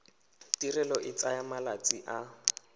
tirelo e tsaya malatsi a